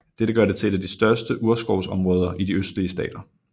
Dette gør det til et af de største urskovsområder i de østlige stater